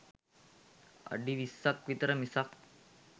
අඩි විස්සක් විතර මිසක්